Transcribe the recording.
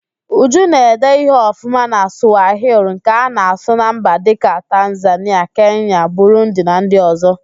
Uju na-ede ihe ọfụma na Sụwahili nke a na-asụ na mba dịka: Tanzanịa, Kenya, Burundi na ndị ọzọ